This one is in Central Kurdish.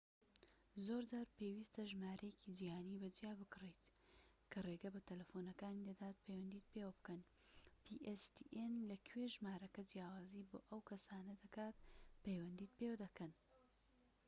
زۆر جار پێویستە ژمارەیەکی جیهانی بە جیا بکڕیت کە ڕێگە بە تەلەفۆنەکانی pstn دەدات پەیوەندیت پێوە بکەن لە کوێ ژمارەکە جیاوازی بۆ ئەو کەسانە دەکات پەیوەندیت پێوە دەکەن